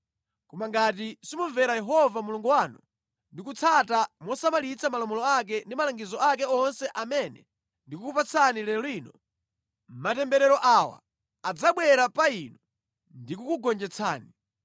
Koma ngati simumvera Yehova Mulungu wanu ndi kusatsata mosamalitsa malamulo ake ndi malangizo ake onse amene ndikukupatsani lero lino, matemberero awa adzabwera pa inu ndikukugonjetsani: